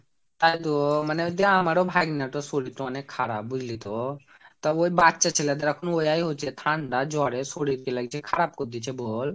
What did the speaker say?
তাই তো মানে ওইতো আমারো ভাগনাতো শরীরতো অনেক খারাপ বুজলিতো। তবে ওই বাচ্চা ছেলেদের এখন ওই হচ্ছে ঠান্ডা জ্বরে শরীরকে খারাপ করে দিচ্ছে বল।